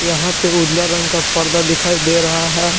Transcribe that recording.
यहां पे उजला रंग का पर्दा दिखाई दे रहा है।